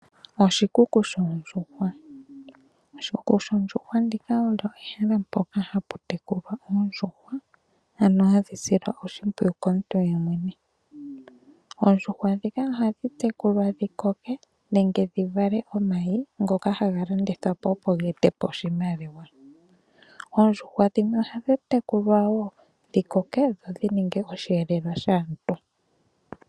Oshikuku shoondjuhwa. Oshikuku shoondjuhwa olyo ehala moka hamu tekulwa oondjuhwa, ano hadhi silwa oshimpwiyu komuntu yemwene. Oondjuhwa dhoka ohadhi tekulwa dhi koke, nenge dhi vale omayi ngoka haga landithwapo opo geetepo oshimaliwa. Oondjuhwa dhimwe ohadhi tekulwa wo dhi koke, dho dhininge osheelelwa shaantu.